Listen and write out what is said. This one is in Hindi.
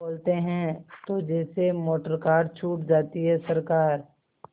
बोलते हैं तो जैसे मोटरकार छूट जाती है सरकार